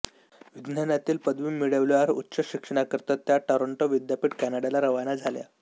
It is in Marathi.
विज्ञानातील पदवी मिळवल्यावर उच्च शिक्षणाकरिता त्या टोरॅंटो विद्यापीठ कॅनडाला रवाना झाल्या